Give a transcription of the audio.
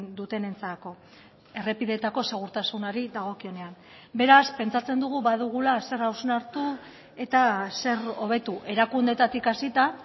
dutenentzako errepideetako segurtasunari dagokionean beraz pentsatzen dugu badugula zer hausnartu eta zer hobetu erakundeetatik hasita